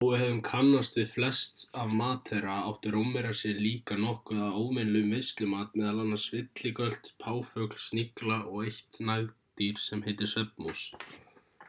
þó við hefðum kannast við flest af mat þeirra áttu rómverjar sér líka nokkuð af óvenjulegum veislumat meðal annars villigölt páfugl snigla og eitt nagdýr sem heitir svefnmús